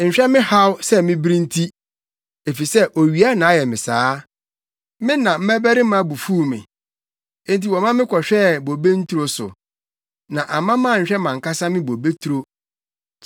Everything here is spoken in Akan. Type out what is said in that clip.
Nhwɛ me haw sɛ mibiri nti, efisɛ owia na ayɛ me saa. Me na mmabarima bu fuw me, enti wɔma me kɔhwɛɛ bobe nturo so; na amma manhwɛ mʼankasa me bobeturo.